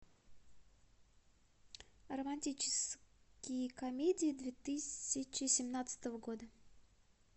романтические комедии две тысячи семнадцатого года